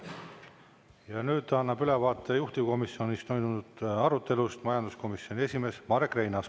Ja nüüd annab ülevaate juhtivkomisjonis toimunud arutelust majanduskomisjoni esimees Marek Reinaas.